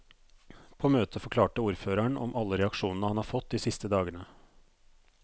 På møtet forklarte ordføreren om alle reaksjonene han har fått de siste dagene.